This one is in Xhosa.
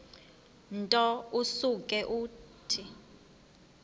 nto usuke uthi